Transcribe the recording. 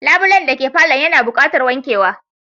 Labulen dake palour yana buqatar wankewa